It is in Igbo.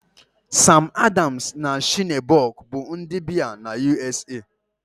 Sam Adams na Shiner Bock bụ ụdị biya na U.S.A